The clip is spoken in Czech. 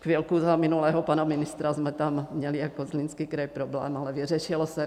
Chvilku za minulého pana ministra jsme tam měli jako Zlínský kraj problém, ale vyřešilo se.